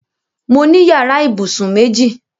Mo ní yàrá ìbùsùn méjì.